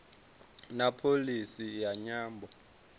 na pholisi ya nyambo